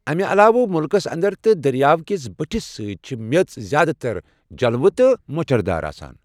امہِ علاوٕ مُلکَس انٛدر تہٕ دریاو کِس بٔٹھِس سۭتۍ چھِ میٚژ زیادٕ تر جلو تہٕ مۄچردار آسان۔